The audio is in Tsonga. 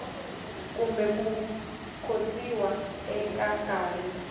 kumbe ku khotsiwa eka nkarhi